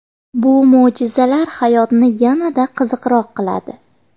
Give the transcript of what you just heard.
Bu mo‘jizalar hayotni yanada qiziqroq qiladi.